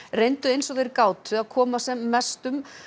reyndu eins og þeir gátu að koma sem mestu